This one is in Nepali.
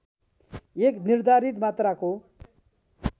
एक निर्धारित मात्राको